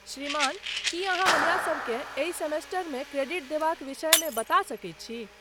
श्रीमान, की अहाँ हमरासबकेँ एहि सेमेस्टरमे क्रेडिट देबाक विषयमे बता सकैत छी?